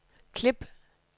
klip